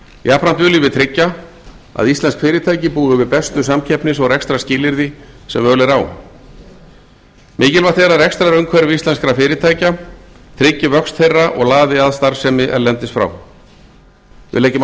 jafnframt viljum við tryggja að íslensk fyrirtæki búi við bestu samkeppnis og rekstrarskilyrði sem völ er á mikilvægt er að rekstrarumhverfi íslenskra fyrirtækja tryggi vöxt þeirra og laði að starfsemi erlendis frá við leggjum áherslu